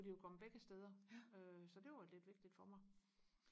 kunne de jo komme begge steder øh så det var lidt vigtigt for mig